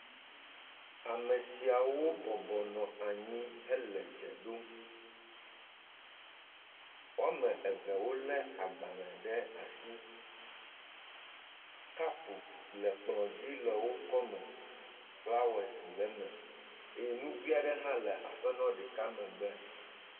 Ame siawo bɔbɔnɔ anyi hele dze ɖom. Woame eve wole agbalẽ ɖe asi. Kapu le kplɔ dzi le wokɔme. Flowers le me eye nugoea ɖe hã le aƒenɔ ɖeka megbe.